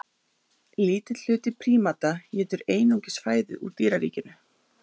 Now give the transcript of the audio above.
Lítill hluti prímata étur einungis fæðu úr dýraríkinu.